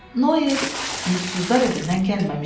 Noe yurdsuzlar evindən gəlməmişdi.